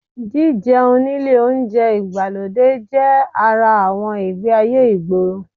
Jíjẹun nílé oúnjẹ ìgbàlódé jẹ́ ara àwọn ìgbé-ayé ìgboro